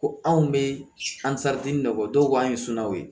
Ko anw bɛ dɔ k'an ye sunanw ye